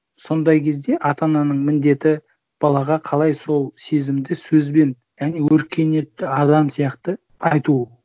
сондай кезде ата ананың міндеті балаға қалай сол сезімді сөзбен және өркениетті адам сияқты айту